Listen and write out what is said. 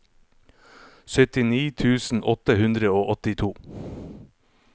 syttini tusen åtte hundre og åttito